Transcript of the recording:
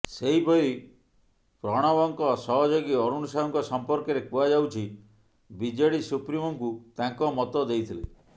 ସେହିପରି ପ୍ରଣବଙ୍କ ସହଯୋଗୀ ଅରୁଣ ସାହୁଙ୍କ ସମ୍ପର୍କରେ କୁହାଯାଉଛି ବିଜେଡି ସୁପ୍ରିମୋଙ୍କୁ ତାଙ୍କ ମତ ଦେଇଥିଲେ